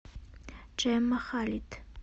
джемма халид